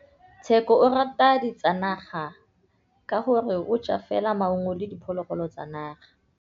Tshekô o rata ditsanaga ka gore o ja fela maungo le diphologolo tsa naga.